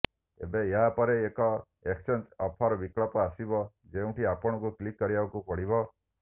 ଏବେ ଏହା ପରେ ଏକ ଏକ୍ସଚେଞ୍ଜ ଅଫରର ବିକଳ୍ପ ଆସିବ ଯେଉଁଠି ଆପଣଙ୍କୁ କ୍ଲିକ୍ କରିବାକୁ ପଡିବ